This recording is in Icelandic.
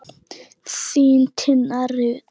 Þín, Tinna Rut.